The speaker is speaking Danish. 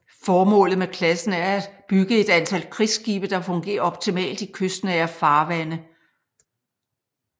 Formålet med klassen er at bygget et antal krigsskibe der fungerer optimalt i kystnære farvande